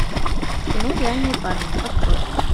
кино реальные парни открой